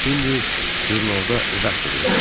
İndi jurnalda redaktorluq edir.